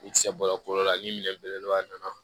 I tɛ se baro kolo la ni minɛ belebeleba nana